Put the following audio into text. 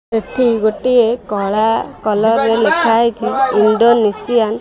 ଏଠି ଗୋଟିଏ କଳା କଲରରେ ଲେଖାହୋଇଛି ଇଣ୍ଡୋନେସିଆନ --